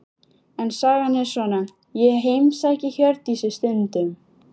En sagan er svona: Ég heimsæki Hjördísi stundum.